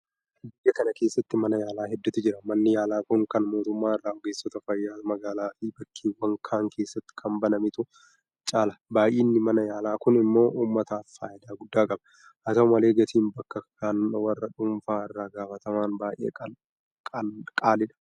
Biyya kana keessatti mana taalaa hedduutu jira. Manni yaalaa kun kan mootummaa irra ogeessota fayyaatiin magaalaafi bakkeewwan kaan keessatti kan banametu caala. Baay'inni mana yaalaa kun immoo uummataaf faayidaa guddaa qaba. Haata'u malee gatiin bakka kan warra dhuunfaa irraa gaafataman baay'ee qaala'aadha.